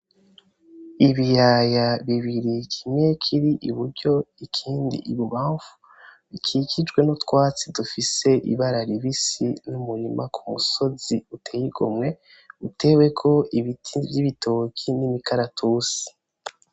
Ibiyaya bibiri kimwe kiri iburyo ikindi ibubamfu bikikijwe n'utwatsi dufise ibara ribisi n'umurima ku musozi uteye igomwe, uteweko ibiti vy'ibitoke n'imikaratusi.